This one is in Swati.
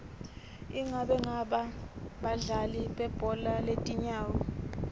ingabe bangaki badlali belibhola letinyawo